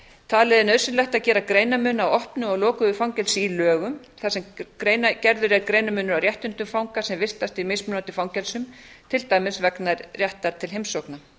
talið er nauðsynlegt að gera greinarmun á opnu og lokuðu fangelsi í lögum þar sem gerður er greinarmunur á réttindum fanga sem vistast í mismunandi fangelsum til dæmis vegna réttar til heimsókna